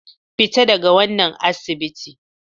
Fita daga wannan asibiti!